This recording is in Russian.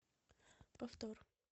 повтор